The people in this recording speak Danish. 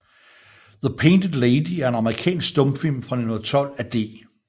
The Painted Lady er en amerikansk stumfilm fra 1912 af D